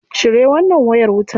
Cire wannan wayar wutar.